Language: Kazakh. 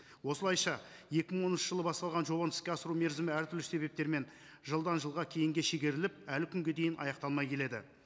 осылайша екі мың оныншы жылы басталған жобаны іске асыру мерзімі әртүрлі себептермен жылдан жылға кейінге шегеріліп әлі күнге дейін аяқталмай келеді